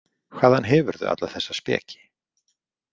Hvaðan hefurðu alla þessa speki?